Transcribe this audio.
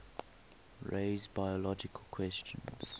raise biological questions